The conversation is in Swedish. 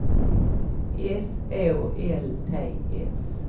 S Å L T S